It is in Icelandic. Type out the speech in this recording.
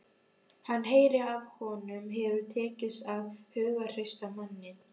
Hann heyrir að honum hefur tekist að hughreysta manninn.